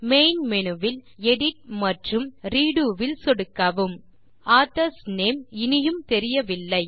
main menu வில் edit மற்றும் redo வில் சொடுக்கவும் ஆதர்ஸ் நேம் இனியும் தெரியவில்லை